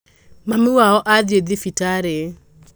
Mami wao athiĩthibitarĩ.